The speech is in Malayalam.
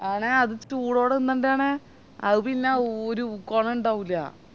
ആണേ അത് ചൂടോടെ തിന്നണ്ടയാണെ അത് പിന്നെ ഒര് കോണണ്ടാവൂല